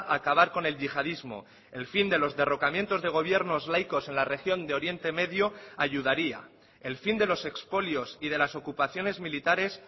a acabar con el yihadismo el fin de los derrocamientos de gobiernos laicos en la región de oriente medio ayudaría el fin de los expolios y de las ocupaciones militares